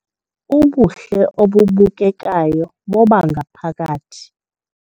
Ubuhle obubukekayo bobangaphakathi